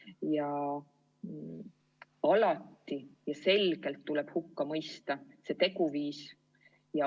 Ja alati tuleb selgelt hukka mõista niisugune teguviis.